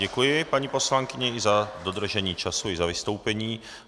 Děkuji paní poslankyni i za dodržení času i za vystoupení.